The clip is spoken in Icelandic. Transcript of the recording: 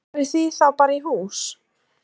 Farið þið þá bara í hús?